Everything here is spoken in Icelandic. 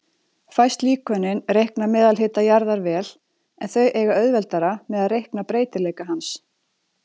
Fæst líkönin reikna meðalhita jarðar vel, en þau eiga auðveldara með að reikna breytileika hans.